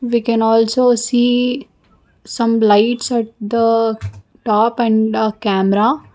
We can also see some lights at the top and camera.